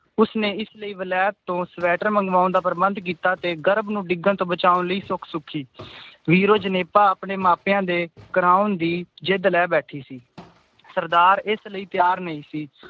ਉਸਨੇ ਇਸ ਲਈ ਵਲੈਤ ਤੋਂ ਸਵੈਟਰ ਮੰਗਵਾਉਣ ਦਾ ਪ੍ਰਬੰਧ ਕੀਤਾ ਤੇ ਗਰਭ ਨੂੰ ਡਿੱਗਣ ਤੋਂ ਬਚਾਉਣ ਲਈ ਸੁਖ ਸੁਖੀ ਵੀਰੋ ਜਣੇਪਾ ਆਪਣੇ ਮਾਂ ਪਿਆਂ ਦੇ ਕਰਾਊਨ ਦੀ ਜਿੱਦ ਲੈ ਬੈਠੀ ਸੀ ਸਰਦਾਰ ਇਸ ਲਈ ਤਿਆਰ ਨਈ ਸੀ